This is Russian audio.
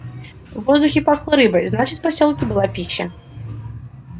в воздухе пахло рыбой значит в посёлке была пища